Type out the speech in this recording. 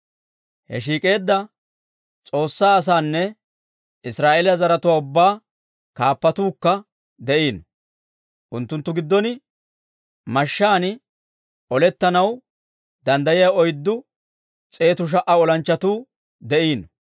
He shiik'eedda S'oossaa asaanna Israa'eeliyaa zaratuwaa ubbaa kaappatuukka de'iino. Unttunttu giddon mashshaan olettanaw danddayiyaa oyddu s'eetu sha"a olanchchatuu de'iino.